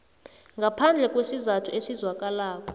ngaphandle kwesizathu esizwakalako